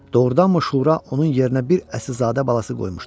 Doğrudanmı şura onun yerinə bir əsilzadə balası qoymuşdu?